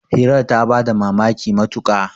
hirar ta ba da mamaki matuka